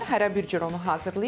Hərə bir cür onu hazırlayır.